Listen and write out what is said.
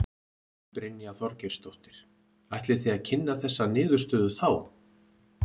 Brynja Þorgeirsdóttir: Ætlið þið að kynna þessa niðurstöðu þá?